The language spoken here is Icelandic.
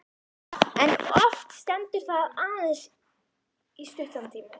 En oft stendur það aðeins í stuttan tíma.